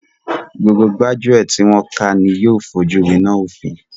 Gbogbo gbájúẹ̀ tí wọn ká ni yóò fojú wináa òfin.